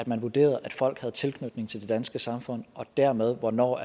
man vurderede at folk havde tilknytning til det danske samfund og dermed hvornår